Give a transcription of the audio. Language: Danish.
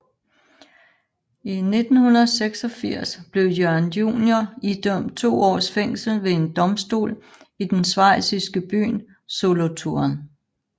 I 1986 blev Jørgen Junior idømt to års fængsel ved en domstol i den schweiziske by Solothurn